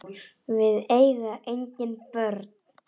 Við eiga engin börn.